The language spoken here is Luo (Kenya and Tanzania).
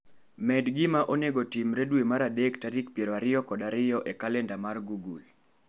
Med gima onego otimre dwe mar adek tarik piero ariyo kod ariyo kalenda mar google